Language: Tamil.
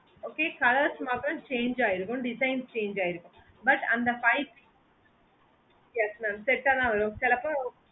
okay colours மட்டும் change ஆயிருக்கும் design change ஆயிருக்கும் but அந்த five set yes mam set ஆஹ் தான் வரும் சில பேரு